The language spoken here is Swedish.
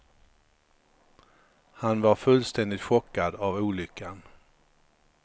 Han var fullständigt chockad av olyckan.